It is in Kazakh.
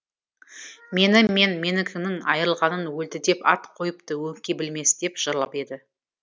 мені мен менікінің айырылғанын өлді деп ат қойыпты өңкей білмес деп жырлап еді